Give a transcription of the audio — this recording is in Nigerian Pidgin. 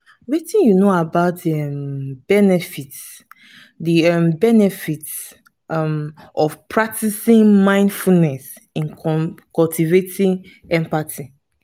wetin you know about di um benefits di um benefits um of practicing mindfulness in cultivating empathy?